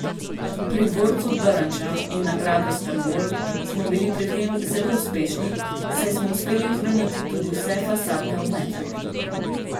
Pri dvorcu Drnča in na gradu Strmol smo bili pri tem zelo uspešni, saj smo uspeli ohraniti tudi vse fasadne omete.